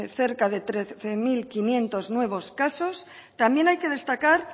cerca de trece mil quinientos nuevos casos también hay que destacar